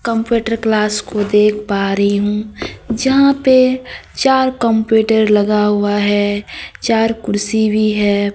Computer class को देख पा रही हूं जहां पे चार कंप्यूटर लगा हुआ है चार कुर्सी भी है।